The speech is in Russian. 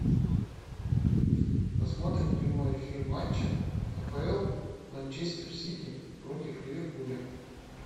посмотрим прямой эфир матча апл манчестер сити против ливерпуля